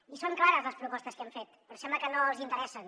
i són clares les propostes que hem fet però sembla que no els hi interessen